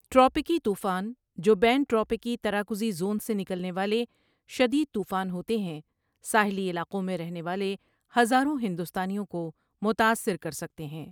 ٹراپیکی طوفان، جو بین ٹراپیکی تراکزی زون سے نکلنے والے شدید طوفان ہوتے ہیں، ساحلی علاقوں میں رہنے والے ہزاروں ہندوستانیوں کو متاثر کر سکتے ہیں۔